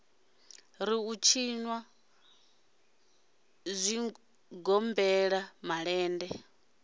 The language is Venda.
ri u tshinwa zwigombela malende